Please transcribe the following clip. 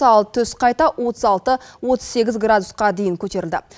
ал түс қайта отыз алты отыз сегіз градусқа дейін көтерілді